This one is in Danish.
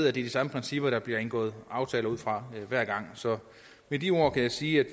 er de samme principper der bliver indgået aftaler ud fra hver gang så med de ord kan jeg sige at